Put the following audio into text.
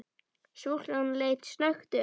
Stúlkan leit snöggt upp.